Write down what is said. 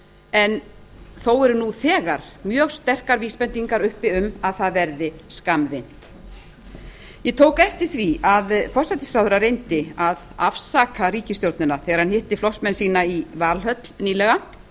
en þó eru nú þegar mjög sterkar vísbendingar uppi um að það verði skammvinnt ég tók eftir því að forsætisráðherra reyndi að afsaka ríkisstjórnina þegar hann hitti flokksmenn sína í valhöll nýlega